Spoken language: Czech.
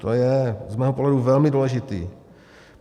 To je z mého pohledu velmi důležité.